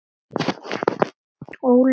Óli og börnin.